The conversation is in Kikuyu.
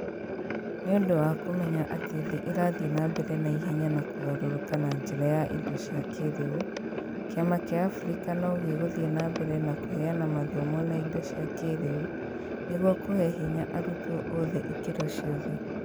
Nĩ ũndũ wa kũmenya atĩ thĩ ĩrathiĩ na mbere na ihenya kũgarũrũka na njĩra ya indo cia kĩĩrĩu, kĩama kĩa Africa no gĩgũthiĩ na mbere na kũheana mathomo na indo cia kĩĩrĩu nĩguo kuhe hinya arutwo oothe ikĩro ciothe